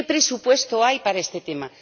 ¿Qué presupuesto hay para este tema?